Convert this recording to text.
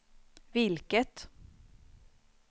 vilket